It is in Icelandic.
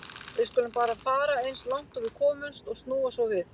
Við skulum bara fara eins langt og við komumst og snúa svo við.